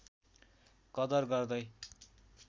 कदर गर्दै